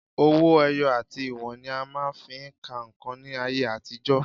Owó ẹyọ àti ìwọ̀n ni a máa ń fi ń ka nǹkan ní ayé àtijọ́